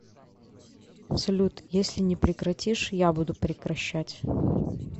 салют если не прекратишь я буду прекращать